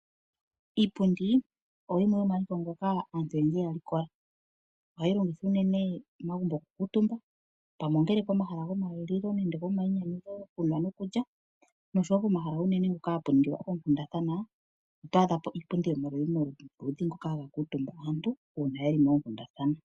Iipundi oyo yimwe yomomaliko ngoka aantu oyendji ya likola. Ohayi longithwa momagumbo okukuutumba pomahala gokulila nenge gomayinyanyudho okulya nokunwa, noshowo pomahala mpono unene hapu ningilwa oonkundathana oto adha po iipyomaludhi nomaludhi hoka haku kuutumbwa kaantu uuna ye li moonkundathana.